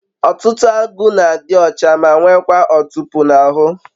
otutu agu na adi ocha ma nwekwa otupu n'ahu